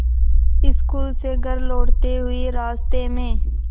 school से घर लौटते हुए रास्ते में